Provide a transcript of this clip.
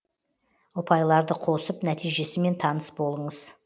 ұпайларды қосып нәтижесімен таныс болыңыз